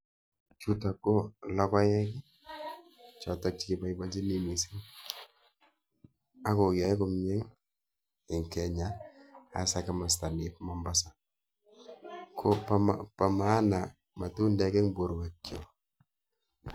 Chutok ko logoek, chotok cheiboibochini mising akoyoe komie eng Kenya hasa ko kimasta nep Mombasa, ko po maana matundek eng borwekchok.